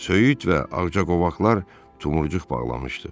Söyüd və ağcaqovaqlar tumurcuq bağlamışdı.